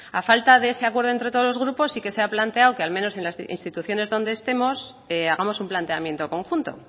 a falta de ese acuerdo entre todos los grupos sí que se ha planteado al menos en las instituciones donde estemos hagamos un planteamiento conjunto